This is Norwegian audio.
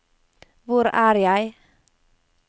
hvor er jeg